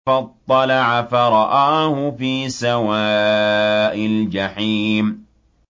فَاطَّلَعَ فَرَآهُ فِي سَوَاءِ الْجَحِيمِ